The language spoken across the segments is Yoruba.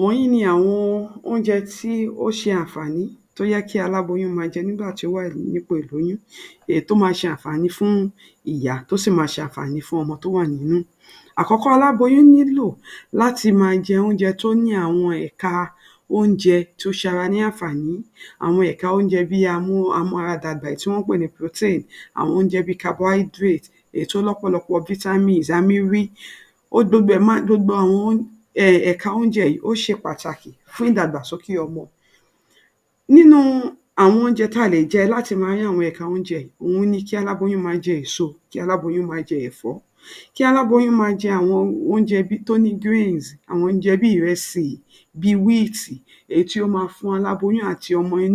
wonyi ni àwọn oúnjẹ tó ṣe Àǹfààní tó yẹ kí aláboyún máa jẹ nìgbà tí wọ́n bá ti wà ní ipó ílóyún, èyí tó máa ṣe Àǹfààní fún ìyá tó sì máa ṣe áǹfààní fún ọmọ tó ṣàǹfààní fún ọmọ tó wa nínu wà nínú. Àkọ́kọ́ ná alaboyun nilo lati máa jẹ àwọn oúnjẹ tó ni awon eka ounje ṣe ara ní Àǹfààní. Àwọn ẹ̀ka oúnjẹ tó ń mú ara dàgbà tí wọn ń pè ní protein, àwọn oúnjẹ bíi carbonhydrate, èyí tó lọ́pọ̀lọpọ̀ vitamin à bẹ́ ẹ̀ ríi gbogbo ẹ̀ máa, ẹ̀ka oúnjẹ yìí ṣe patàkì fún ìdàgbàsókè ọmọ. Nínú àwọn oúnjẹ tí a lè jẹ láti máa rí àwọn ẹ̀ka oúnjẹ, ó yẹ kí aláboyún máa jẹ ni èso wà, kí alaboyun máa jẹ ẹ̀fọ. Ki álaboyún máa jẹ ouńjẹ tó green àwọn oúnjẹ tó ni diets jẹ bí ìrẹsì, bi wheat èyí tó máa fún aláboyùn ati ọmọ rẹ̀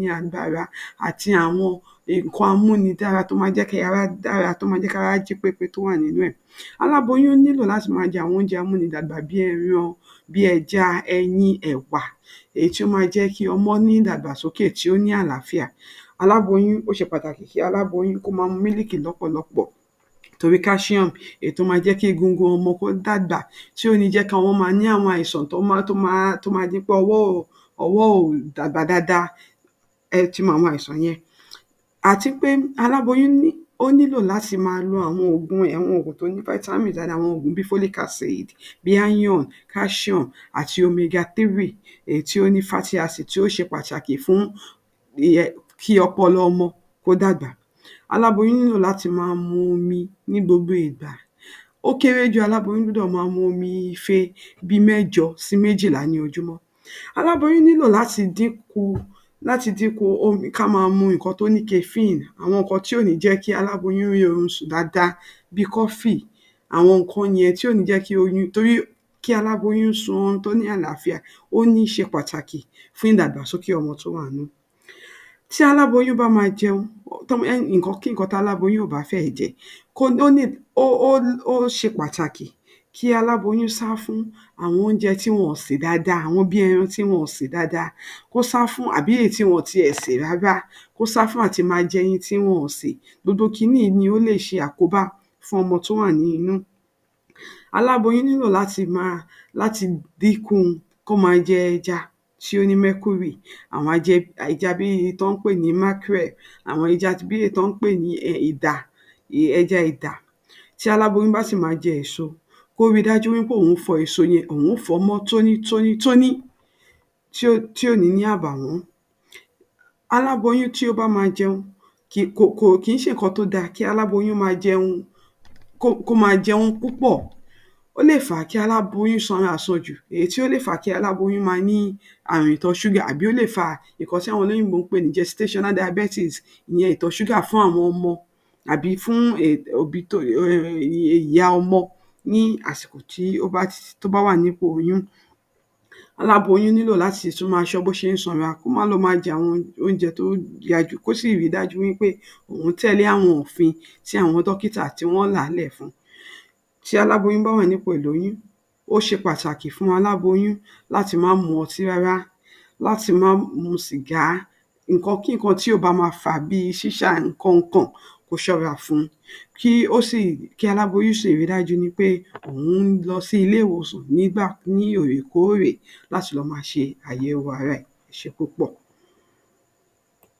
ní agbára àti àwọn nǹkan a mú ni dára tó màa ń jẹ́ kí ara dára, tó máa mú kí ara jí pépé to wa ninu e. Aláboyún nílò láti máa jẹ àwọn oúnjẹ amọ́mọ dàgbà bíi ẹran, ẹja, ẹyin, ẹ̀wà èyí tó máa jẹ́ kí ọmọ ní ídàgbàsókè tó ní àlàáfíà. Alaboyún, ó ṣe pàtàkì kí aláboyún kó máa mu mílíkì lọ́pọ̀lọpọ̀ torí calcium èyí tó máa jẹ́ kí egungun ọmọ kó dàgbà tí kò ní jẹ́ kí àwọn ọmọ ní àwọn àìsàn tó máa di pé owo ó dàgbà dáadáa ẹ ti mọ àwọn àìsàn yẹn. Àti pé aláboyún nílò àti máa lo àwọn òògùn rẹ̀, àwọn òògùn tó ní vitamin lára bíi folic acid iron àtì omega3 èyí tó ní fatty acid tó ṣe pàtàkì ìyẹn, kí ọpọlọ ọmọ kó dàgbà. Àláboyún nílò láti máa mu omi ní gbogbo ìgbà. Ó kéré jù, aláboyún gbọ́dọ̀ máa mu omi ife mẹ́jọ sí méjìlá ní ojoojúmọ́. Aláboyún nílò láti dínku káa máa mu nǹkan tó ni kafiń-ìn àwọn nǹkan tí kò ní jẹ́ kí aláboyún kò rí oorun sùn dáadáa, bíi coffee àwọn nǹkan yẹn tí kòní jẹ́ kí oyún, torí kí aláboyún sun oorun tó ní àlàfíà, ó ṣe pàtàki fún ìgbàsokè ọmọ tó wá nínú rẹ̀. Tí aláboyún bá máa jẹun, nǹkan kí nǹkan táláboyún ìbá fẹ́ máa jẹ, ó ṣe pàtàkì kí aláboyún sá fún oúnjẹ tí wọn sè dáadáa, bíi ẹran tí wọn ṣè dáadáa, kó sá fún, àbí èyí tí wọn kò tilẹ̀ sè rárá. Kó sá fún àwọn ẹran tí wọn sè. Torí ó lè ṣe àkóbá fún ọmọ tó wà nínú. Aláboyún nílò láti dinku máa jẹ ẹja tó ní mercury àwọn ẹja bíi tí wọn ń pè ní markrel àwọn ẹja tí wọn ń pè ni ìta, ẹja ìta. Tí aláboyún bá sì máa jẹ èso, kó ríi dáju pé òun fọ èso yẹn kó mọ́ tónítónítóní tí kò ní ní àbàwọ́n. Aláboyún tí ò bá máa kó jẹ kókó, kìí ṣe nǹkan tó dára káláboyún máa jẹun púpọ, ó lè fà á kí aláboyún sanra àsan jù. Èyí tó lè fàa kí aláboyún máa tọ ìtọ̀ ṣùgà tàbí tí àwọn olóyìnbó ń pè nì gestational diabates ìtọ̀ ṣúgà fùn àwọn ọmọ tàbí ìyá ọmọ ní àsìkò tó bá wá nípò ìlóyún. Aláboyún nílò láti máa ṣọ́ bò ṣe ń ṣanra ní ouńjẹ tó jẹ́ wí pe, ó sì tẹ̀lẹ́ ofin tí àwọn Dókítà là kalẹ̀ fún un. Tí aláboyún bá wà nípò ìlóyún, ó ṣe pàtàkì fún aláboyún láti má mutí rárá, lati má mu ṣìgá nǹkan kí nǹkan tó bá máa fa bíi síṣàárẹ̀ nǹkan ǹkan kó yẹra fún un. Kó sìríi dájú pé òun ń lọ sí ilé ìwòsàn lóòrèkóòrè. Ẹ ṣe púpọ̀.